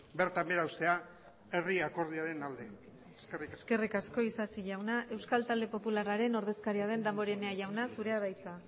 bertan behera uztea herri akordioaren alde eskerrik asko eskerrik asko isasi jauna euskal talde popularraren ordezkaria den damborenea jauna zurea da hitza